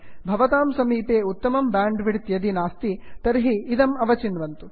भवतां समीपे उत्तमं ब्यांड् विड्थ् यदि नास्ति तर्हि इदम् अवचिन्वन्तु